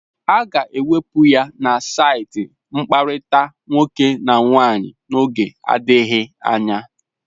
A ga-ewepụ ya na saịtị mkpakọrịta nwoke na nwaanyị n'oge adịghị anya.